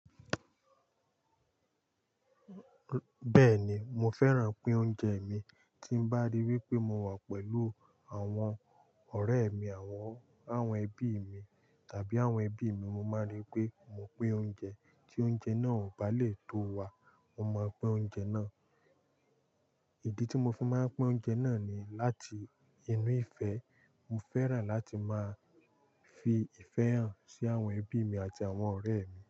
Bẹ́ẹ̀ ni, mo fẹ́ràn pín oúnjẹ mi, tí mbá rí wípé mo wà pẹ̀lú àwọn ọ̀rẹ́ mi àwọn, àwọn ẹbí mi tàbí àwọn ẹbí mi, mo máa rí pé mo pín oúnjẹ, tí oúnjẹ náà ò bá lè tó wa, mo máa pín oúnjẹ náà. Ìdí tí mo fi máa ń pín oúnjẹ náà ni láti inú ìfẹ́. Mo fẹ́ràn láti máa fi ìfẹ́ hàn sí àwọn ẹbí mi àti àwọn ọ̀rẹ́ mi.